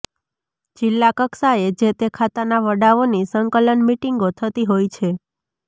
જીલ્લા કક્ષાએ જે તે ખાતાના વડાઓની સંકલન મીટીંગો થતી હોય છે